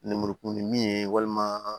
Lemurukumuni min ye walima